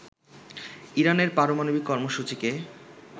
ইরানের পারমাণবিক কর্মসূচিকে